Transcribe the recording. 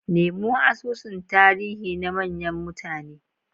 Nemo asusun tarihi na manyan mutane.